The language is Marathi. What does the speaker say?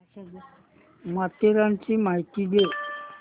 माथेरानची माहिती दे